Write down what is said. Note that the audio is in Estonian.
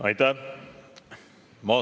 Aitäh!